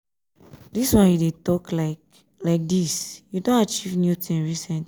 dis one you dey talk like like dis you don achieve new thing recently?